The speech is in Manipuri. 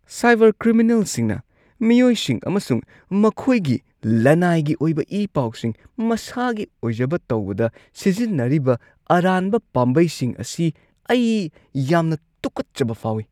ꯁꯥꯏꯕꯔ ꯀ꯭ꯔꯤꯃꯤꯅꯦꯜꯁꯤꯡꯅ ꯃꯤꯑꯣꯏꯁꯤꯡ ꯑꯃꯁꯨꯡ ꯃꯈꯣꯏꯒꯤ ꯂꯅꯥꯏꯒꯤ ꯑꯣꯏꯕ ꯏ-ꯄꯥꯎꯁꯤꯡ ꯃꯁꯥꯒꯤ ꯑꯣꯏꯖꯕ ꯇꯧꯕꯗ ꯁꯤꯖꯤꯟꯅꯔꯤꯕ ꯑꯔꯥꯟꯕ ꯄꯥꯝꯕꯩꯁꯤꯡ ꯑꯁꯤ ꯑꯩ ꯌꯥꯝꯅ ꯇꯨꯀꯠꯆꯕ ꯐꯥꯎꯏ꯫